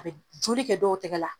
A bɛ joli kɛ dɔw tɛgɛ la.